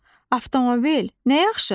O, avtomobil, nə yaxşı!